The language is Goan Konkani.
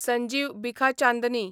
संजीव बिखाचांदनी